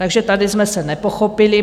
Takže tady jsme se nepochopili.